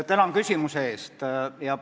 Tänan küsimuse eest!